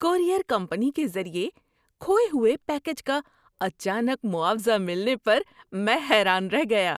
Courier company کے ذریعے کھوئے ہوئے پیکیج کا اچانک معاوضہ ملنے پر میں حیران رہ گیا۔